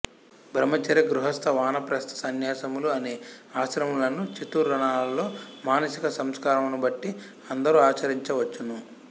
బ్రహ్మచర్య గృహస్థ వానప్రస్థ సన్యాసములు అనే ఆశ్రమములను చతుర్వర్ణాలలో మానసిక సంస్కారమును బట్టి అందరూ ఆచరించవచును